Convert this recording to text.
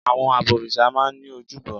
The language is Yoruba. Àwọn abọ̀rìṣà máa n ní ojúbọ